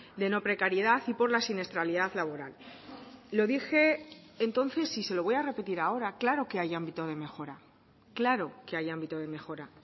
de no precariedad y por la siniestralidad laboral lo dije entonces y se lo voy a repetir ahora claro que hay ámbito de mejora claro que hay ámbito de mejora